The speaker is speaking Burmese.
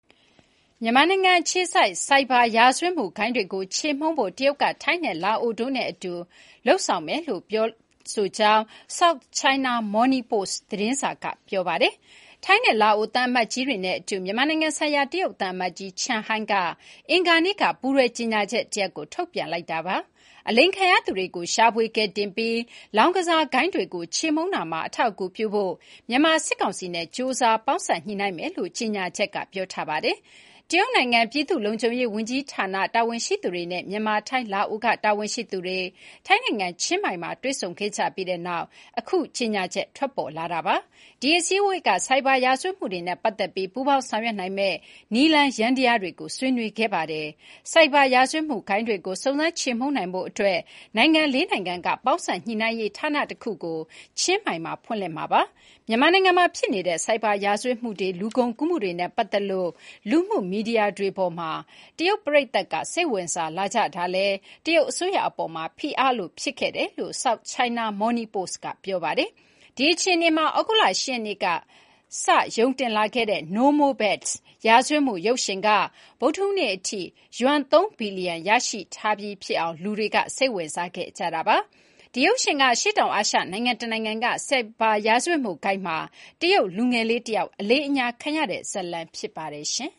မြန်မာနိုင်ငံအခြေစိုက် ဆိုင်ဘာရာဇဝတ်မှုဂိုဏ်းတွေကိုချေမှုန်းဖို့ တရုတ်က ထိုင်း၊လာအိုတို့နဲ့ အလုပ်အတူလုပ်မယ်လို့ ပြောလိုက်တယ်လို့ SOUTH CHINA MORNING POST သတင်းစာက ဆိုပါတယ်။ ထိုင်းနဲ့လာအိုသံအမတ်ကြီးတွေနဲ့အတူ မြန်မာနိုင်ငံဆိုင်ရာတရုတ်သံအမတ်ကြီး ချန်ဟိုင်း Chen Hai က အင်္ဂါနေ့က ပူးတွဲကြေညာချက်တရပ် ထုတ်ပြန်လိုက်တာပါ။ အလိမ်ခံရသူတွေကို ရှာဖွေကယ်တင်ပြီး လောင်းကစားဂိုဏ်းတွေကို ချေမှုန်းရာမှာ အထောက်အကူပြုဖို့ မြန်မာစစ်ကောင်စီနဲ့ ကြိုးစားပေါင်းစပ်ညှိနှိုင်းမယ်လို့ ကြေညာချက်က ပြောထားပါတယ်။ တရုတ်နိုင်ငံ ပြည်သူ့လုံခြုံရေးဝန်ကြီးဌာန တာဝန်ရှိသူတွေနဲ့ မြန်မာ၊ ထိုင်း၊ လာအိုတို့ကတာဝန်ရှိသူတွေ ထိုင်းနိုင်ငံ ချင်းမိုင်မြို့မှာ တွေ့ဆုံခဲ့ကြပြီးတဲ့နောက် အခုလိုကြေညာချက် ထွက်ပေါ်လာခဲ့တာဖြစ်ပါတယ်။ ဒီအစည်းအဝေးက ဆိုင်ဘာရာဇဝတ်မှုတွေနဲ့ပတ်သက်ပြီး၊ ပူးပေါင်းဆောင်ရွက်နိုင်မယ့်နည်းလမ်း ယန္တယားတွေကို ဆွေးနွေးခဲ့ကြတာပါ။ ဆိုင်ဘာ ရာဇဝတ်မှုဂိုဏ်းတွေကို စုံစမ်း ချေမှုန်းနိုင်ဖို့အတွက် နိုင်ငံ ၄ နိုင်ငံ က ပေါင်းစပ်ညှိနှိုင်းရေးဌာနတခုကို ချင်းမိုင်မှာ ဖွင့်လှစ်မှာပါ။ မြန်မာနိုင်ငံမှာဖြစ်နေတဲ့ ဆိုင်ဘာရာဇဝတ်မှုတွေ၊ လူကုန်ကူးမှုတွေနဲ့ပတ်သက်လို့ လူမှုမီဒီယာတွေပေါ်မှာ တရုတ်ပရိသတ်က စိတ်ဝင်စားလာကြတာကလည်း တရုတ်အစိုးရအပေါ်မှာ ဖိအားလိုဖြစ်ခဲ့ပါတယ်လို့ South China Morning Post က ဆိုပါတယ်။ ဒီ အခြေအနေမှာ သြဂုတ်လ ၈ ရက်နေ့က စပြီးရုံတင်လာခဲ့တဲ့ No More Bets ရာဇဝတ်မှုခင်းရုပ်ရှင်က ဗုဒ္ဓဟူးနေ့အထိ ယွမ် ၃ ဘီလီယံ ရရှိပြီးဖြစ်အောင် လူတွေစိတ်ဝင်စားခဲ့ကြပါတယ်။ ဒီ ရုပ်ရှင်က အရှေ့တောင်အာရှနိုင်ငံတနိုင်ငံက ဆိုင်ဘာ ရာဇဝတ်မှုဂိုဏ်းမှာ တရုတ်လူငယ်လေးတယောက် အလိမ်အညာခံရတဲ့ ဇာတ်လမ်း ဖြစ်ပါတယ်။